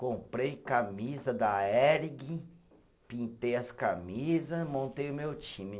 Comprei camisa da Hering, pintei as camisa, montei o meu time.